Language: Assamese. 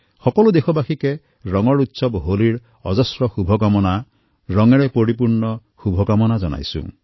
আপোনালোক সকলোকে হোলীৰ ৰংগোৎসৱৰ বহুত শুভকামনা ৰঙীণ শুভকামনা যাছিলোঁ